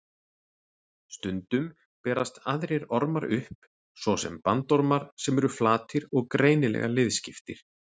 Stundum berast aðrir ormar upp, svo sem bandormar sem eru flatir og greinilega liðskiptir.